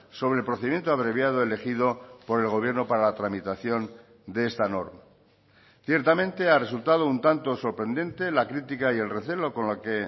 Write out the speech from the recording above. sobre el procedimiento abreviado elegido por el gobierno para la tramitación de esta norma ciertamente ha resultado un tanto sorprendente la crítica y el recelo con la que